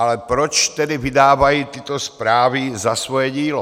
Ale proč tedy vydávají tyto zprávy za svoje dílo?